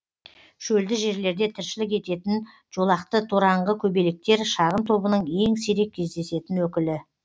шөлді жерлерде тіршілік ететін жолақты тораңғы көбелектер шағын тобының ең сирек кездесетін өкілі